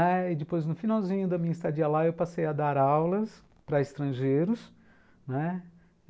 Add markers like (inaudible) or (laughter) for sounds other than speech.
(unintelligible) E depois, no finalzinho da minha estadia lá, eu passei a dar aulas para estrangeiros, né.